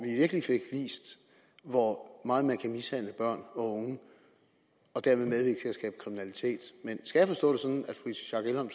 virkelig fik vist hvor meget man kan mishandle børn og unge og derved medvirke til skabe kriminalitet men skal